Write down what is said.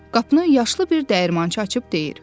Qapını yaşlı bir dəyirmançı açıb deyir: